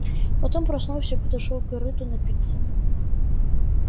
потом проснулся подошёл к корыту напиться